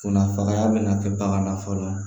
Kunnafamaya bɛna kɛ bagan na fɔlɔ